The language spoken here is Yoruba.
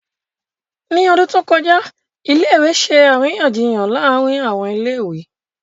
Ní ọdún tó kọjá, ilé ìwé ṣe àríyànjiyàn láàárín àwọn ilé ìwé